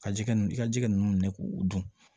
Ka jɛgɛ n ka jɛgɛ ninnu minɛ k'u dun